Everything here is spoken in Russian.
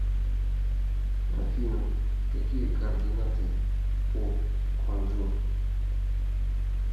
афина какие координаты у кванджу